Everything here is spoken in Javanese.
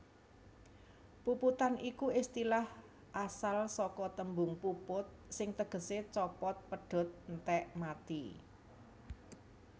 Puputan iku istilah asal saka tembung puput sing tegesé copot pedhot entèk mati